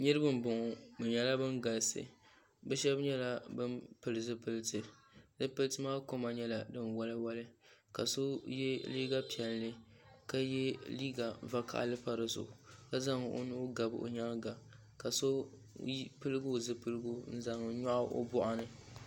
Niriba m boŋɔ bɛ nyɛla ban galisi bɛ sheba nyɛla ban pili zipiliti zipiliti maa kama nyɛla sin woli woli ka so ye liiga piɛlli ka ye liiga vakahali pa si zuɣu ka zaŋ o nuu gabi o nyaanga ka so piligi o zipiligu n zaŋ nyaɣi o boɣu ni.